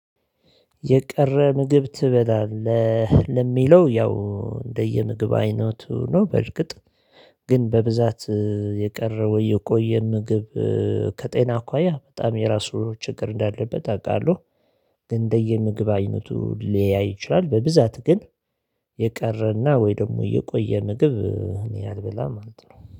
የቀረ ምግብ ትበላለህ ለሚለው ያው እንደየምግብ አይነቱ ነው በርግጥ። ግን በብዛት የቀረው የቆየ ምግብ ከጤና አኳያ በጣም የራሱ ችግር እንዳለበት አውቃለሁ። ግን እንደየምግብ አይነቱ ሊለያይ ይችላል በብዛት ግን። የቀረና ወይ ደግሞ የቆየ ምግብ እኔ አልብላም ማለት ነው